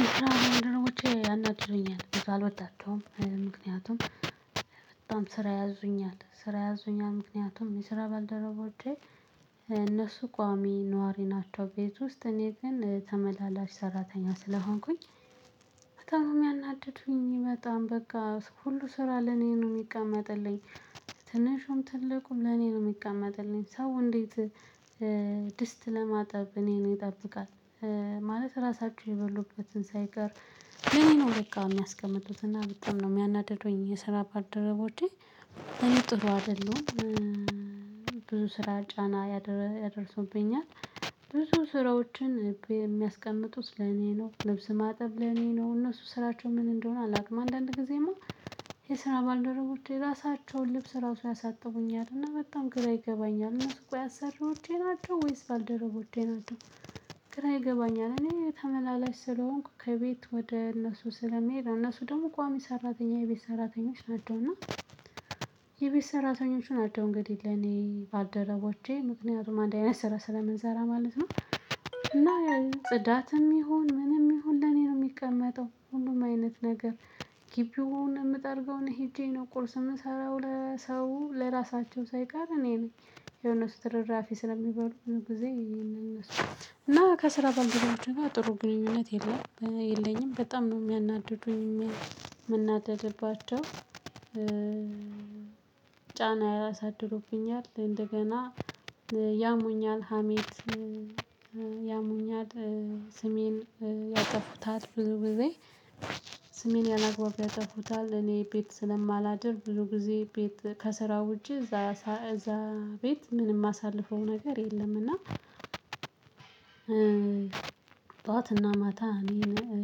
የስራ ባልደረቦቼ ያናድዱኛል በጣም አልወዳቸውም ምክንያቱም በጣም ስራ ያዙኛል ስራ ያዙኛል ምክንያቱም የስራ ባልደረቦቼ እነሱ ቋሚ ነዋሪ ናቸው ቤት ውስጥ እኔ ግን ተመላላሽ ሰራተኛ ስለሆንኩኝ። በጣም የሚያናድዱኝ በጣም በቃ ሁሉ ስራ ለኔ ነው የሚቀመጥልኝ ትንሹም ትልቁም ለኔ ነው የሚቀመጥልኝ። ሰው እንዴት? ድስት ለማጣብ እኔን ይጠብቃል። ማለት ራሳቸው የበሉበትን ሳይቀር ለኔ ነው ለካ የሚያስቀምጡት እና በጣም ነው የሚያናድዱኝ የሰራባልደረቦቼ ለኔ ጥሩ አይደሉም። ብዙ ስራ ጫና ያደርሱብኛል። ብዙ ስራዎችን የሚያስቀምጡት ለኔ ነው ልብስ ማጠብ ለኔ ነው እነሱ ስራቸው ምን እንደሆነ አላውቅም። አንዳንድ ጊዜማ። የስራ ባልደረቦቼ የራሳቸውን ልብስ ራሱ ያሳጥቡኛል እና በጣም ግራ ይገባኛል። እነሱ ቆይ አሰሪዎቼ ናቸው ወይስ ባልደረቦቼ ናቸው? ግራ ይገባኛል። እኔ ተመላላሽ ስለሆንኩ ከቤት ወደ እነሱ ስለሚሄድ እነሱ ደግሞ ቋሚ ሰራተኛ የቤት ሰራተኞች ናቸውና። የቤት ሰራተኞች ናቸው እንግዲህ ለኔ ባልደረቦቼ ምክንያቱም አንድ አይነት ስራ ስለምንሰራ ማለት ነው። እና ጽዳትም ይሁን ምንም ይሁን ለኔ ነው የሚቀመጠው ሁሉም አይነት ነገር። ግቢውን ምጠርገው እኔ ሄጄ ነው ቁርስ የምሰራው ለሰው ለራሳቸው ሳይቀር እኔ ነኝ። ያው እነሱ ትርፍራፊ ስለሚበሉ ብዙ ጊዜ ይሄንን እነሱ እና ከስራ ባልደረባቼ ጋር ጥሩ ግንኙነት የለም የለኝም። በጣም ነው የሚያናድዱኝ የምናደድባቸው። ጫና ያሳድሩብኛል። እንደገና ያሙኛል ሀሜት። ያሙኛል ስሜን ያጠፉታል። ብዙ ጊዜ። ስሜን ያለአግባብ ያጠፉታል። እኔ ቤት ስለማላድር ብዙ ጊዜ ቤት ከስራው ውጪ እዛ ቤት ምንም የማሳልፈው ነገር የለም እና። ጠዋትና ማታ እኔን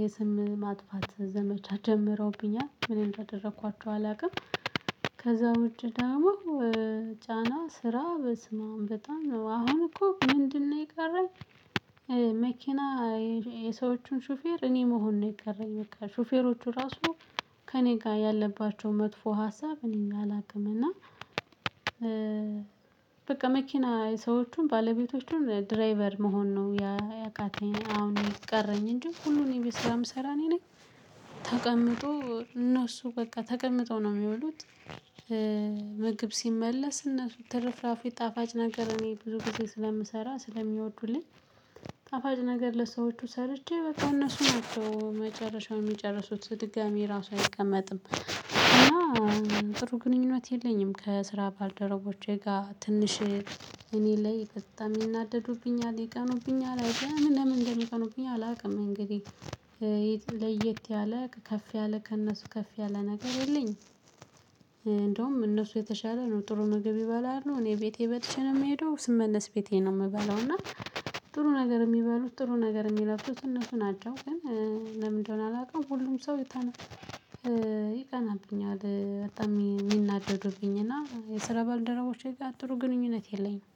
የስም ማጥፋት ዘመቻ ጀምረውብኛል ምን እንዳደረኳቸው አላውቅም። ከዛ ውጪ ደግሞ። ጫና ስራ በስመ አብ በጣም ነው አሁን እኮ ምንድነው የቀረኝ? መኪና የሰዎቹን ሹፌር እኔ መሆን ነው የቀረኝ። በቃ ሹፌሮቹ ራሱ ከእኔ ጋር ያለባቸው መጥፎ ሀሳብ እኔን አላውቅም እና። በቃ መኪና ሰዎችን ባለቤቶቹን ድራይቨር መሆን ነው ያቃተኝ። አሁን የቀረኝ እንጂ ሁሉንም ቤት ስራ የምሰራ እኔ ነኝ። ተቀምጦ እነሱ በቃ ተቀምጠው ነው የሚወሉት። ምግብ ሲመለስ እነሱ ትርፍራፊ ጣፋጭ ነገር እኔ ብዙ ጊዜ ስለምሰራ ስለሚወዱልኝ። ጣፋጭ ነገር ለሰዎቹ ሰርቼ በቃ እነሱ ናቸው መጨረሻውን የሚጨርሱት ድጋሚ ራሱ አይቀመጥም። እና ጥሩ ግንኙነት የለኝም። ከስራ ባልደረቦቼ ጋር ትንሽ። እኔ ላይ በጣም ይናደዱብኛል ይቀኑብኛል ኤድያ ምን ለምን እንደሚቀኑብኝ አላውቅም። እንግዲህ። ለየት ያለ ከፍ ያለ ከእነሱ ከፍ ያለ ነገር የለኝም። እንደውም እነሱ የተሻለ ነው ጥሩ ምግብ ይበላሉ እኔ ቤቴ በልቼ ነው የምሄደው። ስመለስ ቤቴ ነው የምበለው እና። ጥሩ ነገር የሚበሉት ጥሩ ነገር የሚለብሱት እነሱ ናቸው ግን። ለምን እንደሆነ አላውቅም። ሁሉም ሰው። ይቀናብኛል በጣም የሚናደዱብኝ እና የስራ ባልደረቦቼ ጋር ጥሩ ግንኙነት የለኝም።